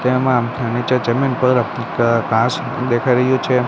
તેમા નીચે જમીન પર ઘ ઘાંસ દેખાઈ રહ્યુ છે.